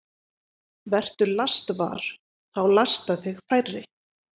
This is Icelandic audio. Vertu lastvar – þá lasta þig færri.